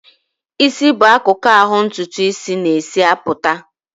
Ịsị bụ akụkụ ahụ ntụtụ isis na-esi apụta.